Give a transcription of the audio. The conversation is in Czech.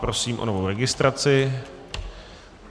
Prosím o novou registraci.